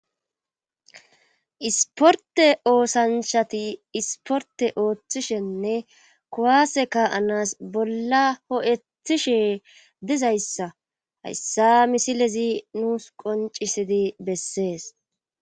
isporte oosanshati isporte ooththishenne kuwase ka7anas bolla ho7ethishe dizayssa hayssa misilezi nuus qoncisidi bessees